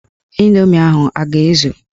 Ịndoomi ahụ a ga-ezu?